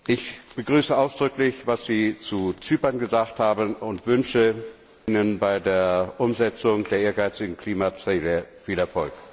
Ich begrüße ausdrücklich, was Sie zu Zypern gesagt haben, und wünsche Ihnen bei der Umsetzung der ehrgeizigen Klimaziele viel Erfolg!